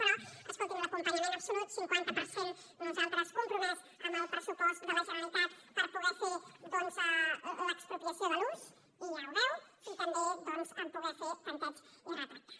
però escolti’m l’acompanyament absolut cinquanta per cent nosaltres compromès en el pressupost de la generalitat per poder fer l’expropiació de l’ús i ja ho veu i també poder fer tanteig i retracte